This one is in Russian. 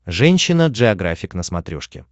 женщина джеографик на смотрешке